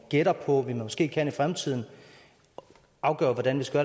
gætter på vi måske kan i fremtiden afgør hvordan vi skal